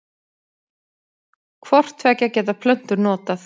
Hvort tveggja geta plöntur notað.